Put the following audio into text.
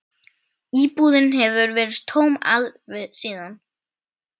Íbúðin hefur verið tóm síðan.